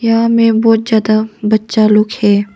यहां में बहुत ज्यादा बच्चा लोग है।